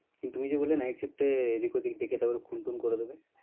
কিন্তু, তুমি যে বললে night shift এ এদিক ওদিক দেখে তারপরে খুনটুন্ করে দেবে?